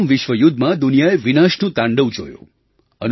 પ્રથમ વિશ્વ યુદ્ધમાં દુનિયાએ વિનાશનું તાંડવ જોયું